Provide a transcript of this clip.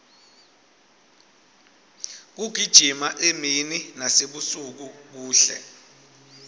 kugijima emini nasebusuku kuhle